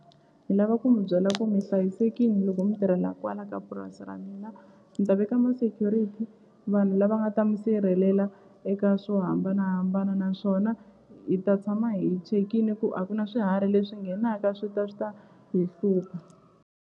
Ni lava ku mi byela ku mi hlayisekini loko mi tirhela kwala ka purasi ra mina ni ta veka ma-security vanhu lava nga ta mi sirhelela eka swo hambanahambana naswona hi ta tshama hi chekile ku a ku na swiharhi leswi nghenaka swi ta swi ta hi hlupha.